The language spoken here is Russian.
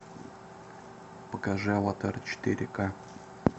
покажи аватар четыре ка